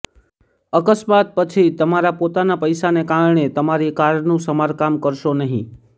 અકસ્માત પછી તમારા પોતાના પૈસાને કારણે તમારી કારનું સમારકામ કરશો નહીં